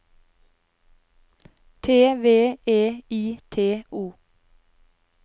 T V E I T O